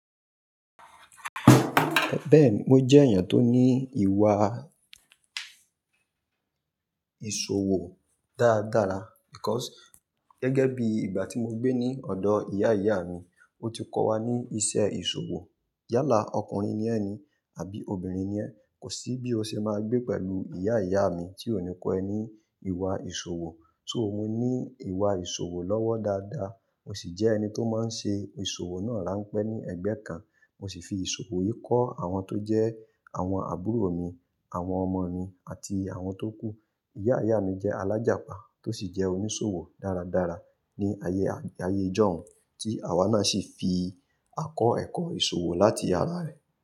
Bẹ́ẹ̀ni, mo jẹ́ èèyàn tó ní ìwà ìṣòwò dáadára because gẹ́gẹ́ bí ìgbà tí mo gbé ní ọ̀dọ̀ ìyá ìyá mi, ó ti kọ́ wa ní iṣẹ́ ìṣòwò. Yálà ọkùnrin ni ẹ́ ni àbí obìnrin ni ẹ́, kò sí bí o ṣe máa gbé pẹ̀lú ìyá ìyá mi tí ó ní kọ́ ẹ ní ìwà ìṣòwò. So mo ní ìwà ìṣòwò lọ́wọ́ dáadáa, mo sì jẹ́ ẹni tó máa ń ṣe ìṣòwò náà ranpẹ ní ẹ̀gbẹ́ kan. Mo sì fi ìṣòwò yìí kọ́ àwọn tó jẹ́ àwọn àbúrò mi, àwọn ọmọ mi àti àwọn tó kú. Ìyá ìyá mi jẹ́ alájapá tó sì jẹ́ oníṣòwò dáradára ní ayé ayé ìjọ̀ún tí àwa náà sì fi àkọ́ ẹ̀kọ́ ìṣòwò láti ara rẹ̀.